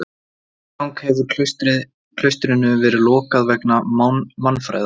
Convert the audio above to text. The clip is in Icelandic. Í þrígang hefði klaustrinu verið lokað vegna mannfæðar.